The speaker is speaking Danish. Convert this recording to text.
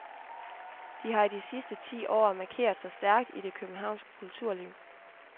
De har de sidste ti år markeret sig stærkt i det københavnske kulturliv.